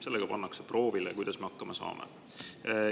Sellega pannakse proovile, kuidas me hakkama saame.